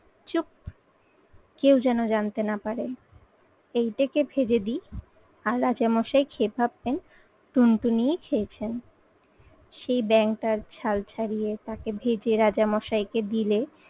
কেউ যেন জানতে না পারে। এইটাকে ভেজে দিই আর রাজামশাই খেয়ে ভাববেন টুনটুনিই খেয়েছেন। সেই ব্যাঙটার ছাল ছাড়িয়ে তাকে ভেজে রাজামশাইকে দিলে